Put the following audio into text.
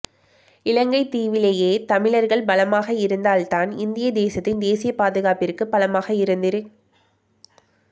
இலங்கைத்தீவிலே தமிழர்கள் பலமாக இருந்தால்தான் இந்திய தேசத்தின் தேசிய பாதுகாப்பிற்கு பலமாக இருந்திருக்